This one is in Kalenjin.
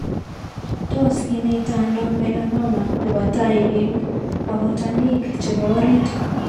Tos kinaita ano Melanoma nebo tai eng' akutanik chebo orit?